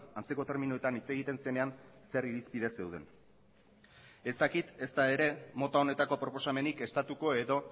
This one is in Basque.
antzeko terminoetan hitz egiten zenean zer irizpide zeuden ez dakit ezta ere mota honetako proposamenik estatuko edo